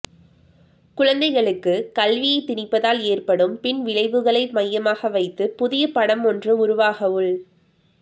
குழந்தைகளுக்கு கல்வியை திணிப்பதால் ஏற்படும் பின் விளைவுகளை மையமாக வைத்து புதிய படம் ஒன்று உருவாகவுள்